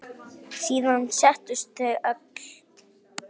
Síðan settust þau öll.